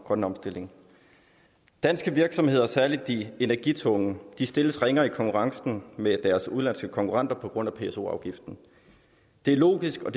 grønne omstilling danske virksomheder særlig de energitunge stilles ringere i konkurrencen med deres udenlandske konkurrenter på grund af pso afgiften det er logisk og